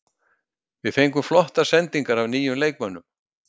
Við fengum flottar sendingar af nýjum leikmönnum.